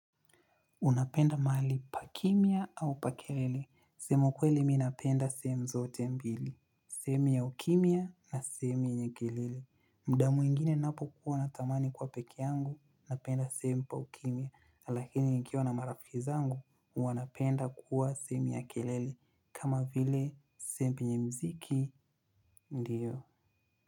Unapenda maali pa kimya au pa kelele? Kusema kweli mi napenda sehemu zote mbili sehemu ya ukimya na semu yenye kelele. Muda mwingine napokuwa natamani kuwa peke yangu, napenda sehemu pa ukimya. Lakini nikiwa na marafi zangu, huwa napenda kuwa sehemu ya kelele. Kama vile sehemu penye muziki, ndiyo.